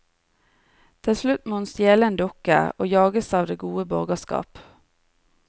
Til slutt må hun stjele en dukke, og jages av det gode borgerskap.